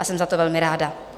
A jsem za to velmi ráda.